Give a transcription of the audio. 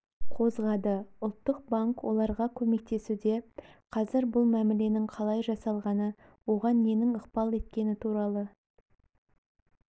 қозғады ұлттық банк оларға көмектесуде қазір бұл мәміленің қалай жасалғаны оған ненің ықпал еткені туралы